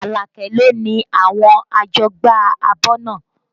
Alake lo ni àwọn àjọgbá abọ́ náà